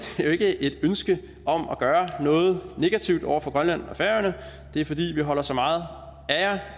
det ikke er et ønske om at gøre noget negativt over for grønland og færøerne det er fordi vi holder så meget af jer